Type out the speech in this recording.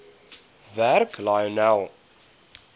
werk lionel